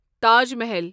Taj Mahal